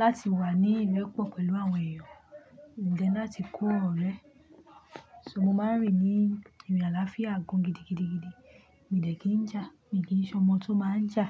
láti wà ní ilẹ̀ pọ̀ pẹ̀lú àwọn èèyàn, then láti kó ọ̀rẹ́. So mo máa ń rìn ní ìrìn àlàáfíà gan gidigidigidi. Mi dẹ̀ kí ń jà, mi kì í ṣe ọmọ tó máa ń jà.